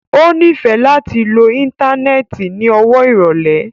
O nifẹ lati lo íńtánẹ́ẹ̀tì ni ọwọ irọlẹ.